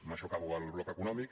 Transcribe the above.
amb això acabo el bloc econòmic